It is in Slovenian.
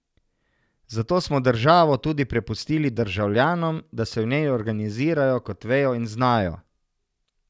Zato smo državo tudi prepustili državljanom, da se v njej organizirajo, kot vejo in znajo.